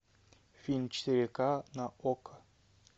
фильм четыре ка на окко